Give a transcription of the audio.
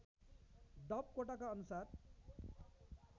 डप कोटाका अनुसार